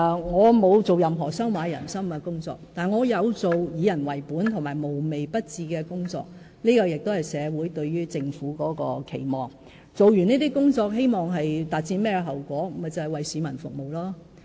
我沒有做任何收買人心的工作，但我有做以人為本及無微不至的工作，這亦是社會對於政府的期望，完成這些工作後，我們希望達到的結果，就是為市民服務。